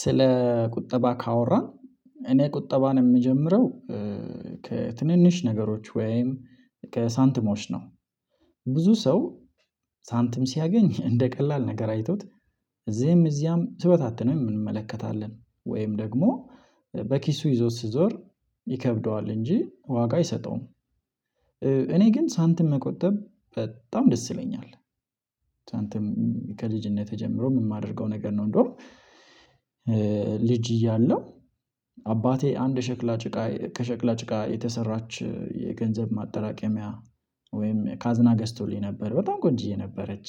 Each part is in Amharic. ስለ ቁጠባ ካወራን እኔ ቁጠባን የምጀምረው ከትንንሽ ነገሮች ወይም ከሳንትሞች ነው። ብዙ ሰው ሳንትም ሲያገኝ እንደ ቀላል ነገር አይቶት እዚህም እዚያም ስበታተነው የምንመለከታለን ወይም ደግሞ በኪሱ ይዞት ስዞር ይከብደዋል እንጂ ዋጋ አይሰጠውም። እኔ ግን ሳንትም መቆጠብ በጣም ደስ ይለኛል። ሳንትም ከልጅነትህ ጀምሮ የማደርገው ነገር ነው። እንደውም ልጅ እያለው አባቴ አንድ ሸክላ ጭቃ ከሸክላ ጭቃ የተሰራች የገንዘብ ማጠራቀሚያ ወይም ካዝና ገዝቶልኝ ነበር። በጣም ቆንጆ የነበረች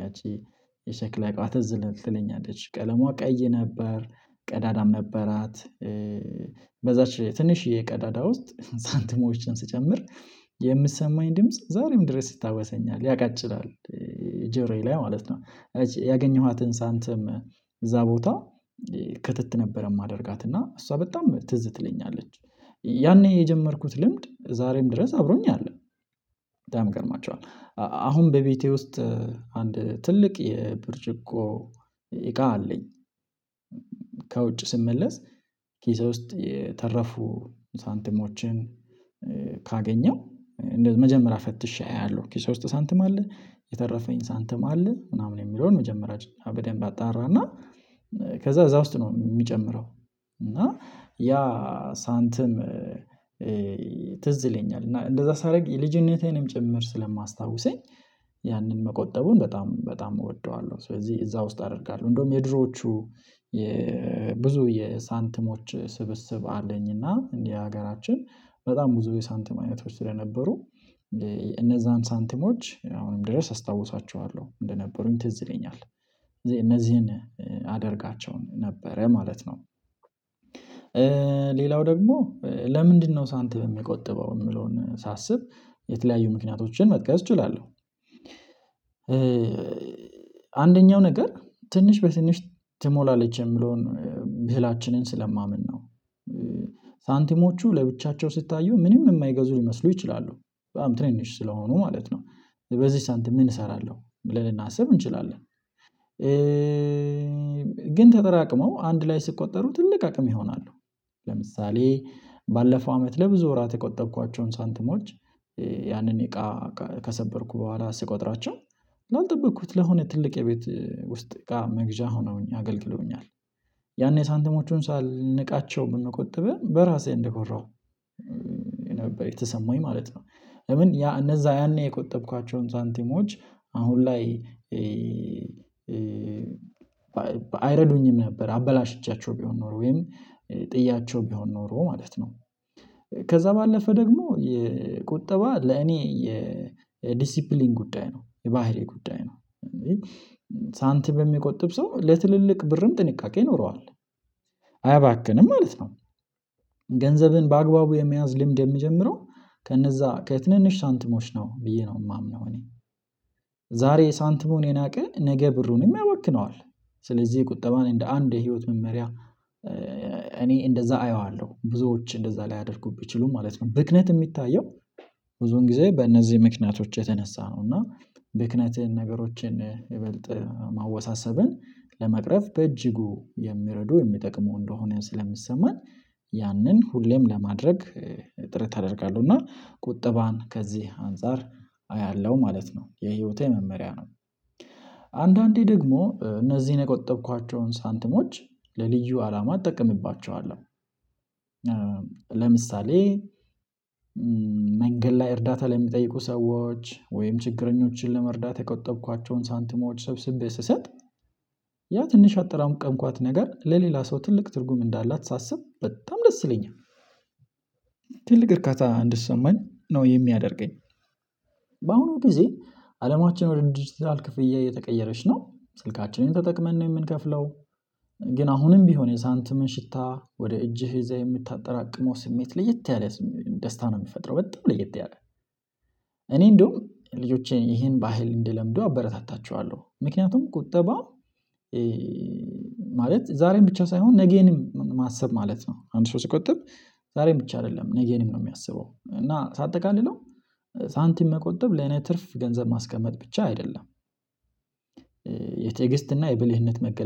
ያቺ የሸክላ እቃዋ ትዝ ትለኛለች ቀለሟ ቀይ ነበር ቀዳዳም ነበራት። በዛች ትንሽዬ ቀዳዳ ውስጥ ሳንቲሞችን ስጨምር የምትሰማኝ ድምጽ ዛሬም ድረስ ይታወሰኛል ያቃጭላል ጆሮዬ ላይ ማለት ነው። ያገኘኋትን ሳንተም እዛ ቦታ ክትት ነበረ የማደርጋት እና እሷ በጣም ትዝ ትለኛለች። ያኔ የጀመርኩት ልምድ ዛሬም ድረስ አብሮኝ አለ። ያም ገርማቸዋል። አሁን በቤቴ ውስጥ አንድ ትልቅ የብርጭቆ እቃ አለኝ። ከውጭ ስመለስ ኪሳ ውስጥ የተረፉ ሳንተሞችን ካገኘው መጀመሪያ ፈትሼ አያለሁ። ከዚህ ሳንተም አለ የተረፈኝ ሳንተም አለ ምናምን የሚለውን መጀመሪያ በደንብ አጣራና ከዛ እዛ ውስጥ ነው የሚጨምረው። እና ያ ሳንትም ትዝ ይለኛል እና እንደዛ ሳደርግ የልጅነቴንም ጭምር ስለማስታውሰኝ ያንን መቆጠቡን በጣም በጣም እወደዋለሁ። ስለዚህ እዛ ውስጥ አደርጋለሁ እንደውም የድሮዎቹ ብዙ የሳንትሞች ስብስብ አለኝና እንዲህ ሀገራችን በጣም ብዙ የሳንተም አይነቶች ስለነበሩ እነዛን ሳንቲሞች አሁንም ድረስ አስታውሳቸዋለሁ እንደነበሩኝ ትዝ ይለኛል። እነዚህን አደርጋቸውን ነበረ ማለት ነው። ሌላው ደግሞ ለምንድነው ሳንቲም የሚቆጥበው የምለውን ሳስብ የተለያዩ ምክንያቶችን መጥቀስ እችላለሁ። አንደኛው ነገር ትንሽ በትንሽ ትሞላለች የምለውን ምህላችንን ስለማምን ነው። ሳንቲሞቹ ለብቻቸው ስታየው ምንም የማይገዙ ሊመስሉ ይችላሉ በጣም ትንሽ ስለሆኑ ማለት ነው በዚህ ሳንቲም ምን እሰራለሁ ልናስብ እንችላለን? ግን ተጠራቅመው አንድ ላይ ስትቆጠሩ ትልቅ አቅም ይሆናሉ። ለምሳሌ ባለፈው አመት ለብዙ ወራት የቆጠብኳቸውን ሳንትሞች ያንን እቃ ከሰበርኩ በኋላ ስቆጥራቸው ላልጠብቅኩት ለሆነ ትልቅ የቤት ውስጥ እቃ መግዣ ሆነውኝ አገልግሎኛል። ያኔ ሳንተሞቹን ሳልነቃቸው የምንቆጥበው በራሴ እንደኮራሁ ነበር የተሰማኝ ማለት ነው። ለምን ያ እነዛ ያኔ የቆጠብኳቸውን ሳንቲሞች አሁን ላይ አይረዱኝም ነበር አበላሽቻቸው ቢሆን ኖሮ ወይም ጥያቸው ቢሆን ኖሮ ማለት ነው። ከዛ ባለፈ ደግሞ የቁጠባ ለኔ የዲሲፕሊን ጉዳይ ነው የባህሪ ጉዳይ ነው። በሚቆጥብ ሰው ለትልልቅ ብርም ጥንቃቄ ይኖረዋል። አያባክንም ማለት ነው። ገንዘብን በአግባቡ የመያዝ ልምድ የምጀምረው ከነዛ ከትንንሽ ሳንትሞች ነው ብዬ ነው የማምነው። እኔ ዛሬ ሳንትሞን የናቀን ነገ ብሩንም ያወክነዋል። ስለዚህ ቁጠባን እንደ አንድ የህይወት መመሪያ እኔ እንደዛ አየዋለሁ ብዙዎች እንደዛ ላይ አድርጉብኝ ችሉ ማለት ነው ብክነት የሚታየው። ብዙን ጊዜ በእነዚህ ምክንያቶች የተነሳ ነው። እና ብክነትህን ነገሮችን ይበልጥ ማወሳሰብን ለመቅረፍ በእጅጉ የሚረዱ የሚጠቅመው እንደሆነ ስለምሰማኝ። ያንን ሁሌም ለማድረግ ጥረት ታደርጋለሁ እና ቁጠባን ከዚህ አንፃር አያለሁ ማለት ነው የህይወቴ መመሪያ ነው። አንዳንዴ ደግሞ እነዚህን የቆጠብኳቸውን ሳንትሞች ለልዩ አላማ ትጠቀምባቸዋለህ? ለምሳሌ መንገድ ላይ እርዳታ ላይ የሚጠይቁ ሰዎች ወይም ችግረኞችን ለመርዳት የቆጠብኳቸውን ሳንትሞች ሰብስቤ ስሰጥ ያ ትንሽ ያጠራምቋት ነገር ለሌላ ሰው ትልቅ ትርጉም እንዳላት ሳስብ በጣም ደስ ይለኛል። ትልቅ እርካታ እንድትሰማኝ ነው የሚያደርገኝ። በአሁኑ ጊዜ አለማችን ወደ ዲጂታል ክፍያ እየተቀየረች ነው ስልካችንን ተጠቅመን ነው የምንከፍለው። አሁንም ቢሆን የሳንትምን ሽታ ወደ እጅህ እዛ የምታጠራቅመው ስሜት ለየት ያለ ደስታ ነው የሚፈጥረው። በጣም ለየት ያለ እኔ እንደውም ልጆቼን ይሄን ባህል እንደለምደው አበረታታቸዋለሁ። ምክንያቱም ቁጠባ ማለት ዛሬም ብቻ ሳይሆን ነገንም ማሰብ ማለት ነው። አንድ ሰው ሲቆጠብ ዛሬ ብቻ አይደለም ነገንም ነው የሚያስበው። እና ሳጠቃልለው ሳንቲም መቆጠብ ለኔ ትርፍ ገንዘብ ማስቀመጥ ብቻ አይደለም። የትግስት እና የብልህነት መገለጥ